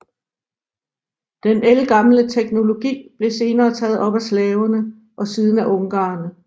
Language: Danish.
Den ældgamle teknologi blev senere taget op af slaverne og siden af ungarerne